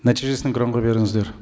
нәтижесін экранға беріңіздер